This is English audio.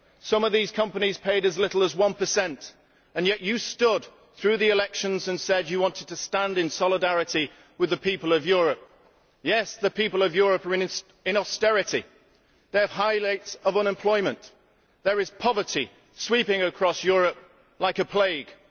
Some of these companies paid as little as one per cent, and yet you stood through the elections and said you wanted to stand in solidarity with the people of Europe. Yes, the people of Europe are in austerity, they have high rates of unemployment and there is poverty sweeping across Europe like a plague.